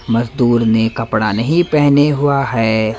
मजदूर ने कपड़ा नहीं पहने हुआ है।